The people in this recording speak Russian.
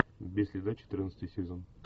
без следа четырнадцатый сезон